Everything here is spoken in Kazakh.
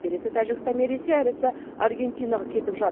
берісі тәжікстан мен ресей әрісі аргентинаға кетіп жат